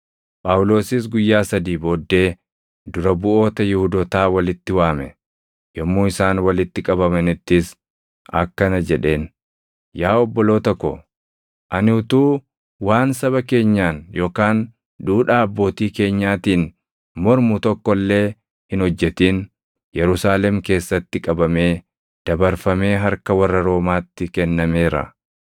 Phaawulosis guyyaa sadii booddee dura buʼoota Yihuudootaa walitti waame; yommuu isaan walitti qabamanittis akkana jedheen; “Yaa obboloota ko, ani utuu waan saba keenyaan yookaan duudhaa abbootii keenyaatiin mormu tokko illee hin hojjetin Yerusaalem keessatti qabamee dabarfamee harka warra Roomaatti kennameera.